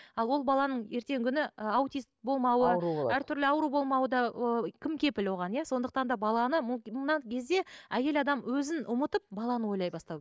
ал ол баланың ертеңгі күні ы аутист болмауы әр түрлі ауру болмауы да ы кім кепіл оған иә сондықтан да баланы мына кезде әйел адам өзін ұмытып баланы ойлай бастау